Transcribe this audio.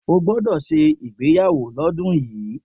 O gbọ́dọ̀ ṣe ìgbéyàwó lọ́dún yìí